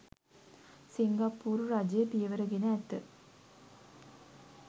සිංගප්පූරු රජය පියවර ගෙන ඇත